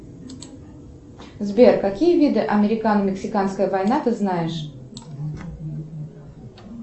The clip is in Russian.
сбер какие виды американо мексиканская война ты знаешь